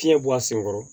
Fiɲɛ bɔ a sen kɔrɔ